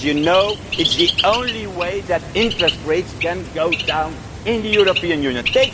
Because you know that it is the only way that interest rates can go down in the European Union.